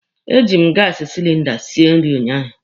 E ji m gaasi silinda sie nri ụnyaahụ.